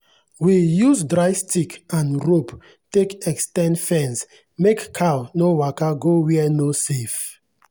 we use dry stick and rope take ex ten d fence make cow no waka go where no safe.